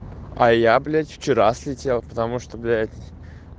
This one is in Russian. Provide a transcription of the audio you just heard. а я блять вчера слетел потому что блять